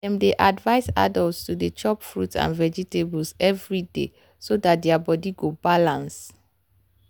dem dey advise adults to dey chop fruit and vegetables every day so their body go balance.